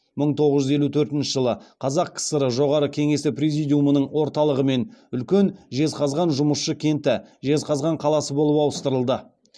мың тоғыз жүз елу төртінші жылы қазақ кср жоғары кеңесі президиумының орталығымен үлкен жезқазған жұмысшы кенті жезқазған қаласы болып ауыстырылды